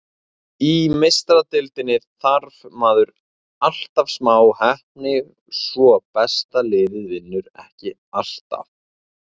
Í Meistaradeildinni þarf maður alltaf smá heppni svo besta liðið vinnur ekki alltaf.